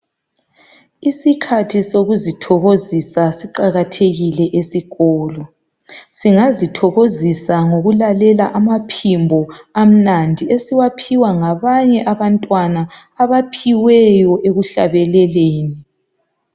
Isikhathi sokuzithokozisa siqakathekile esikolo. Singazithokozisa ngokulalela amaphimbo amnandi esiwaphiwa ngabanye abantwana abaphiweyo ekuhlabeleleni.